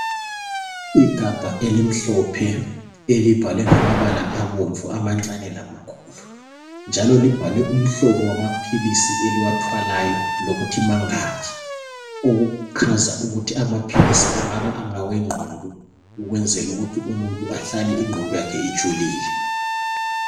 Igabha elimhlophe elibhalwe ngamabala abomvu amancane lamakhulu njalo libhalwe umhlobo wamaphilisi eliwathwalayo lokuthi mangaki okugcaza ukuthi amaphilisi angabangawe ngqondo okwenzela ukuthi umuntu ahlale ingqondo yakhe ijulile.